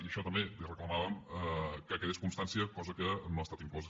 i això també li reclamàvem que en quedés constància cosa que no ha estat inclosa